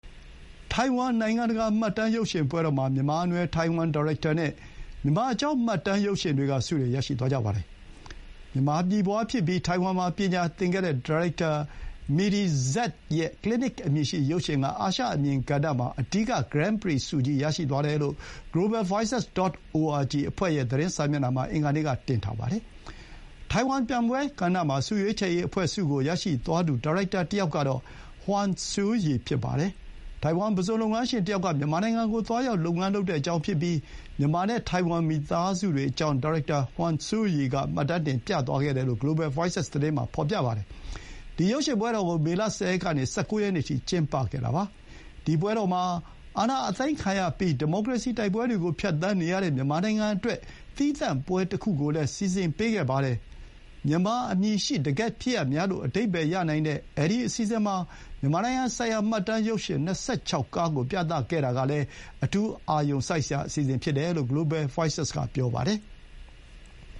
ထိုင်ဝမ် နိုင်ငံတကာ မှတ်တမ်းရုပ်ရှင်ပွဲတော်မှာ မြန်မာနွယ်ဖွား ထိုင်ဝမ်ဒါရိုက်တာနဲ့ မြန်မာအကြောင်း မှတ်တမ်းရုပ်ရှင်တွေက ဆုတွေ ရရှိသွားကြပါတယ်။ မြန်မာပြည်ဖွါးဖြစ်ပြီး ထိုင်ဝမ်မှာ ပညာသင်ခဲ့တဲ့ဒါရိုက်တာ Midi Z ရဲ့ Clinic အမည်ရှိ ရုပ်ရှင်က အာရှအမြင်ကဏ္ဍမှာ အဓိက Gran Prix ဆုကြီး ရရှိသွားတယ်လို့ globalvoices.org အဖွဲ့ရဲ့ သတင်းစာမျက်နှာမှာ အင်္ဂါနေ့က တင်ထားပါတယ်။ ထိုင်ဝမ် ပြိုင်ပွဲကဏ္ဍမှာ ဆုရွေးချယ်ရေးအဖွဲ့ဆုကို ရရှိသွားသူဒါရိုက်တာ တယောက်ကတော့ Huang Hsiu-yi ဖြစ်ပါတယ်။ ထိုင်ဝမ် ပုဇွန်လုပ်ငန်းရှင်တယောက်က မြန်မာနိုင်ငံကို သွားရောက် လုပ်ငန်းလုပ်တဲ့အကြောင်းဖြစ်ပြီး မြန်မာနဲ့ ထိုင်ဝမ်မိသားစုတွေအကြောင်း ဒါရိုက်တာ Huang Hsiu-yi က မှတ်တမ်းတင် ပြသွားခဲ့တယ်လို့ globalvoices သတင်းမှာ ဖော်ပြပါတယ်။ ဒီ ရုပ်ရှင်ပွဲတော်ကို မေလ ၁၀ ရက်ကနေ ၁၉ ရက်နေ့အထိ ကျင်းပခဲ့တာပါ။ ဒီ ပွဲတော်မှာ အာဏာသိမ်းခံရပြီး ဒီမိုကရေစီ တိုက်ပွဲတွေကို ဖြတ်သန်းနေရတဲ့ မြန်မာနိုင်ငံအတွက် သီးသန့်ပွဲတခုကိုလည်း စီစဥ်ပေးခဲ့ပါတယ်။ မြန်မာအမည်ရှိ တကယ့်ဖြစ်ရပ်များ လို့ အဓိပ္ပါယ်ရနိုင်တဲ့ ဒီအစီအစဥ်မှာ မြန်မာနိုင်ငံဆိုင်ရာ မှတ်တမ်းရုပ်ရှင် ၂၆ ခုကို ပြသခဲ့တာကလည်း အထူးအာရုံစိုက်စရာ အစီအစဥ်ဖြစ်တယ်လို့ globalvoices က ဆိုပါတယ်။